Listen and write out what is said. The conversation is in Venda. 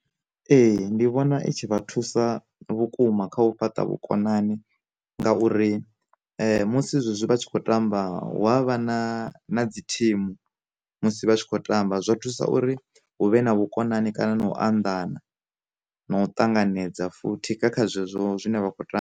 Ee ndi vhona i tshi vha thusa vhukuma kha u fhaṱa vhukonani ngauri musi zwezwi vha tshi khou tamba hu avha na na dzi thimu musi vha tshi khou tamba, zwa thusa uri hu vhe na vhukonani kana na u anḓana na u ṱanganedza futhi kha zwezwo zwine vha khou ta .